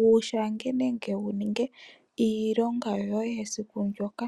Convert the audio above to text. wu shange ngene wu ninge iilonga yoye yesiku ndyoka.